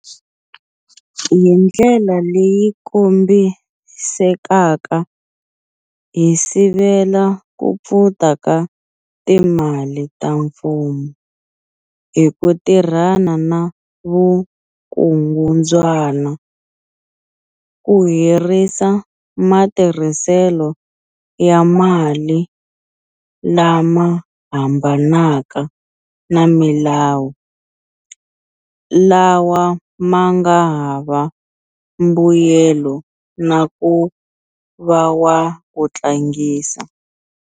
Hindlela leyi kombisekaka hi sivela ku pfuta ka timali ta mfumo hi ku tirhana na vukungundzwana, ku herisa matirhiselo ya mali lama hambanaka na milawu, lawa ma nga hava mbuyelo na ku va wa ku tlangisa.